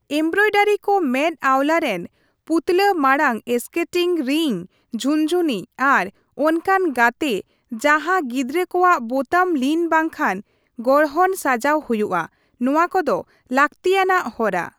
Embroidery ᱠᱚ ᱢᱮᱛ ᱟᱣᱞᱟ ᱨᱮᱱ ᱯᱩᱛᱞᱟᱹ ᱢᱟᱲᱟᱝ ᱮᱥᱠᱮᱴᱤᱧ ᱨᱤᱱᱧ, ᱡᱷᱩᱱᱡᱷᱩᱱᱤ ᱟᱨ ᱚᱱᱠᱟᱱ ᱜᱟᱛᱮ ᱡᱟᱦᱟ ᱜᱤᱫᱽᱨᱟᱹ ᱠᱚᱣᱟᱜ ᱵᱚᱛᱟᱢ ᱞᱤᱱ ᱵᱟᱝᱠᱷᱟᱱ ᱜᱚᱨᱦᱚᱱ ᱥᱟᱡᱟᱣ ᱦᱚᱭᱩᱜᱼᱟ, ᱱᱚᱣᱟ ᱠᱚᱫᱚ ᱞᱟᱹᱠᱛᱤᱭᱟᱱᱟᱜ ᱦᱚᱨᱟ ᱾